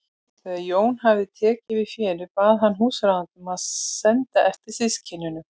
Þegar Jón hafði tekið við fénu bað hann húsráðanda að senda eftir systkinunum.